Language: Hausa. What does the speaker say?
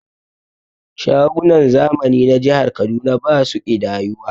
Shagunan zamani na jihar Kaduna basu ƙidayuwa